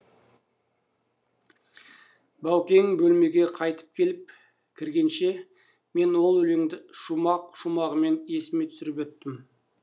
баукең бөлмеге қайта келіп кіргенше мен ол өлеңді шумақ шумағымен есіме түсіріп өттім